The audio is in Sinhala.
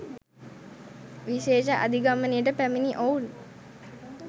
විශේෂ අධිගමනයට පැමිණි ඔවුන්